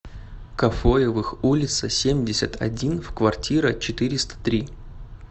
кафоевых улица семьдесят один в квартира четыреста три